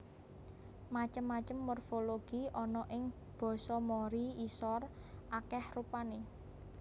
Macem macem morfologi ana ing basa Mori Isor akèh rupané